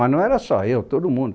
Mas não era só eu, todo mundo.